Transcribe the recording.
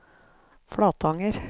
Flatanger